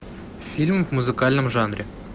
фильм в музыкальном жанре